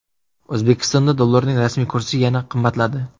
O‘zbekistonda dollarning rasmiy kursi yana qimmatladi.